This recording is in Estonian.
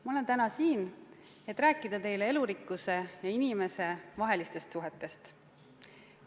Ma olen täna siin, et rääkida teile elurikkuse ja inimese vahelistest seostest.